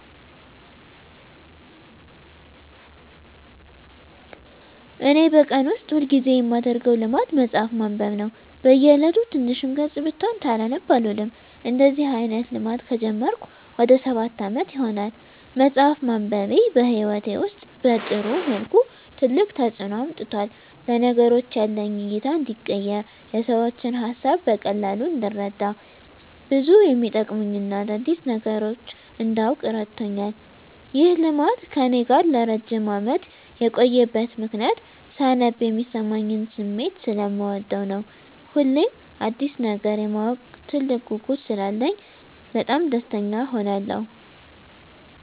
እኔ በቀን ውስጥ ሁል ጊዜ የማደረገው ልማድ መጽሀፍ ማንበብ ነው። በ እየለቱ ትንሽም ገፅ ብትሆን ሳላነብ አልውልም። እንደዚህ አይነት ልማድ ከጀመርኩ ወደ ሰባት አመት ይሆናል። መፅሃፍ ማንበቤ በህይወቴ ውስጥ በጥሩ መልኩ ትልቅ ተፅዕኖ አምጥቷል። ለነገሮች ያለኝ እይታ እንዲቀየር፣ የሰዎችን ሀሳብ በቀላሉ እንድረዳ፣ ብዙ የመጠቅሙኝን አዳዲስ ነገሮች እንዳውቅ እረድቶኛል። ይህ ልማድ ከእኔ ጋር ለረጅም አመት የቆየበት ምክንያትም ሳነብ የሚሰማኝን ስሜት ሰለምወደው ነው። ሁሌም አዲስ ነገር የማወቅ ትልቅ ጉጉት ስላለኝ በጣም ደስተኛ እሆናለሁ።